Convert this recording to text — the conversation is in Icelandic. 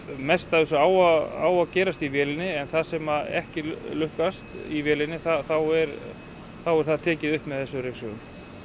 mest af þessu á að gerast í vélinni en það sem ekki lukkast í vélinni þá er er það tekið upp með þessum ryksugum